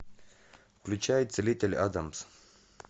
включай целитель адамс